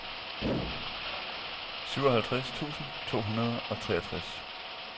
syvoghalvtreds tusind to hundrede og treogtres